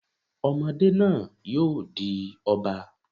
Ọmọdé náà yóò di Ọba.